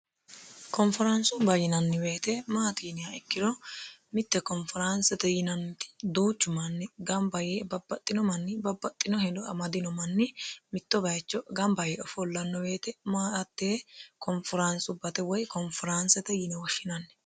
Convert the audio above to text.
konferaansubba yinanni woyte maatiiniya ikkiro mitte konferaansete yinanniti duuchu manni gamba yee babbaxxino manni babbaxxino hedo amadino manni mitto bayicho gamba yee ofollanno woyte maatte konferaansubbate woy konferaanste yine woshshinanni